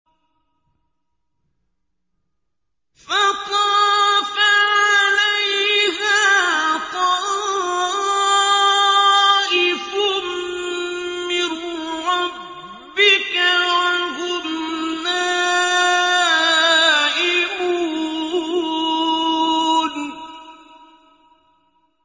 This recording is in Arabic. فَطَافَ عَلَيْهَا طَائِفٌ مِّن رَّبِّكَ وَهُمْ نَائِمُونَ